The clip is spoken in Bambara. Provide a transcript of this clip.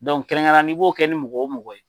kɛrɛnkɛrɛnnenya la n'i b'o kɛ ni mɔgɔ o mɔgɔ ye,